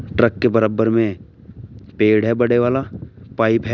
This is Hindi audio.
ट्रक के बराबर में पेड़ है बड़े वाला पाइप है।